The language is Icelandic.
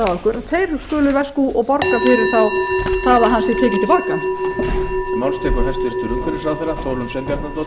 að okkur skulu veskú borga fyrir það að hann sé tekinn til baka